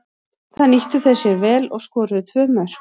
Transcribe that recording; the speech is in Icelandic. Það nýttu þeir sér vel og skoruðu tvö mörk.